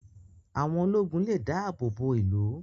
Àwọn ológun lè dáàbò bo ìlú